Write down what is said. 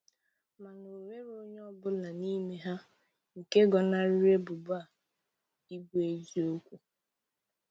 Mana o nwere onye ọ bụla n'ime ha nke gọnariri ebubo a ịbụ eziokwu.